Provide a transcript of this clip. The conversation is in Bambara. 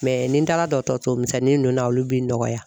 Mɛ ni n taara dɔgɔtɔrɔso misɛnin ninnu na olu bɛ n dɔgɔya